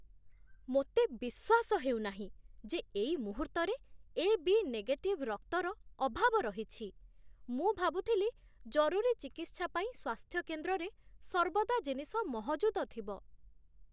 ମୋତେ ବିଶ୍ୱାସ ହେଉନାହିଁ ଯେ ଏଇ ମୁହୂର୍ତ୍ତରେ ଏ.ବି. ନେଗେଟିଭ ରକ୍ତର ଅଭାବ ରହିଛି। ମୁଁ ଭାବୁଥିଲି ଜରୁରୀ ଚିକିତ୍ସା ପାଇଁ ସ୍ୱାସ୍ଥ୍ୟକେନ୍ଦ୍ରରେ ସର୍ବଦା ଜିନିଷ ମହଜୁଦ ଥିବ।